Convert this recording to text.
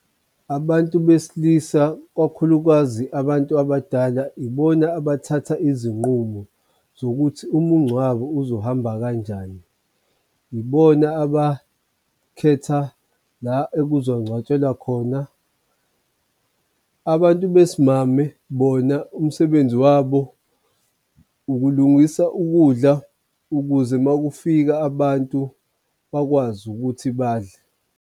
Abantu besilisa kakhulukazi abantu abadala ibona abathatha izinqumo zokuthi umngcwabo uzohamba kanjani, ibona abakhetha la ekuzoncwatshelwa khona. Abantu besimame bona umsebenzi wabo ukulungisa ukudla ukuze makufika abantu bakwazi ukuthi badle.